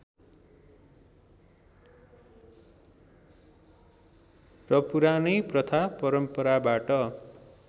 र पुरानै प्रथा परम्पराबाट